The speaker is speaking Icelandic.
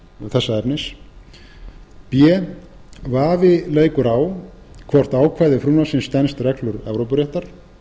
þessa efnis b vafi leikur á um hvort ákvæði frumvarpsins stenst reglur evrópuréttar